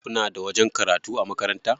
Kuna da wajen karatu a makaranta?